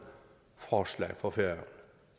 forslag for færøerne